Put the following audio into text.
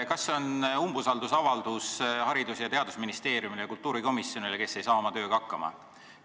Kas see on umbusaldusavaldus Haridus- ja Teadusministeeriumile ning kultuurikomisjonile, kes ei saa oma tööga hakkama?